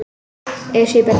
Esjubergi